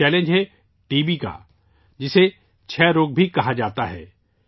یہ چیلنج ہے T B کا، جسے تپ دق بھی کہا جاتا ہے